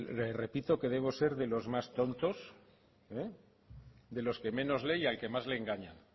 le repito que debo ser de los más tontos de los que menos leen y al que más engañan